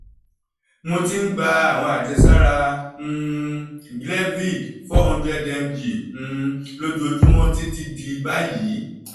mo ti ń gba àwọn àjẹsára um glevic 400 mg um lójoojúmọ́ títí di báyìí